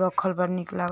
राखल बा नीक लागत --